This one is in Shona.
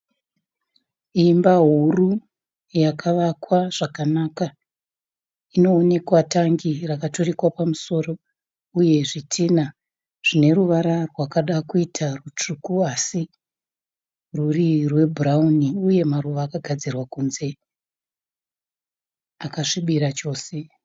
Imba huru yakavakwa zvakanaka. Inoonekwa tangi rakaturikwa pamusoro. Uye zvitinha zvineruvara rwakaakuita rutsvuku asi rwuri rwebhurauni uye maruva akagadzirwa kunze akasvibira chose.